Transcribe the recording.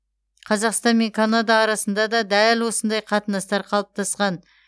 қазақстан мен канада арасында дәл осындай қатынастар қалыптасқан